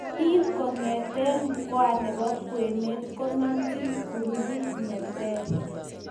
Bik kongete mkoa nebo kwenet konamjin groupit neter.